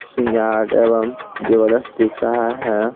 श्रृंगार एवं ज्वेलर्स दिख रहा है ।